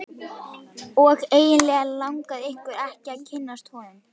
Og eiginlega langaði okkur ekki að kynnast honum.